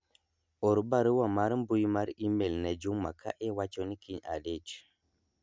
or barua mar mbui mar email ne Juma ka iwacho ni kiny adich